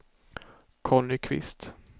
Conny Kvist